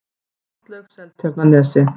Sundlaug Seltjarnarnesi